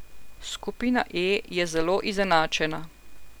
Skupina E je zelo izenačena.